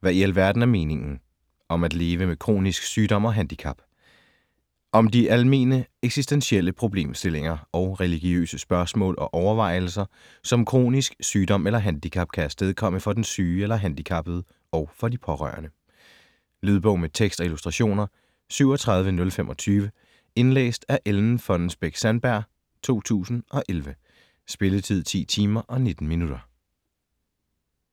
Hvad i alverden er meningen?: om at leve med kronisk sygdom og handicap Om de almene eksistentielle problemstillinger og religiøse spørgsmål og overvejelser, som kronisk sygdom eller handicap kan afstedkomme for den syge eller handicappede og for de pårørende. Lydbog med tekst og illustrationer 37025 Indlæst af Ellen Fonnesbech-Sandberg, 2011. Spilletid: 10 timer, 19 minutter.